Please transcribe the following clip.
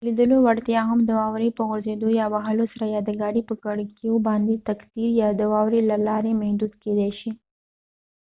د لیدلو وړتيا هم د واورې په غورځیدو یا وهلو سره یا د ګاډې په کړکیو باندې د تقطير يا د واورې له لارې محدود کيدې شي